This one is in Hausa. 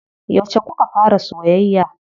Yauce kuka fara soyayya?